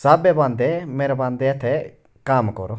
साथ में बांधते मेरा बांधते थे काम करो--